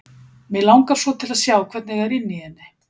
Mig langar svo til að sjá hvernig er inni í henni.